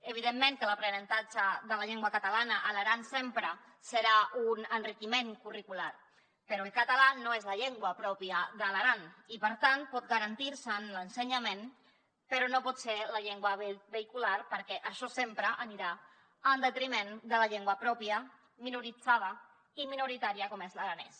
evidentment que l’aprenentatge de la llengua catalana a l’aran sempre serà un enriquiment curricular però el català no és la llengua pròpia de l’aran i per tant pot garantir se’n l’ensenyament però no pot ser la llengua vehicular perquè això sempre anirà en detriment de la llengua pròpia minoritzada i minoritària com és l’aranès